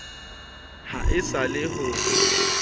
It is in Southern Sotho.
ha e sa le ho